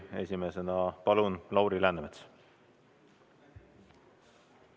Esimesena palun Lauri Läänemets!